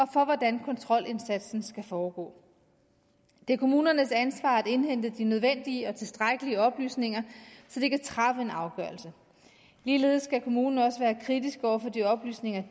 for hvordan kontrolindsatsen skal foregå det er kommunernes ansvar at indhente de nødvendige og tilstrækkelige oplysninger så de kan træffe en afgørelse ligeledes skal kommunen også være kritisk over for de oplysninger